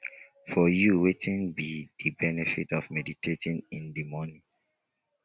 for you wetin be di benefit of meditating in di morning